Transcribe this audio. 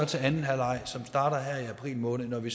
til anden halvleg som starter her i april måned når vi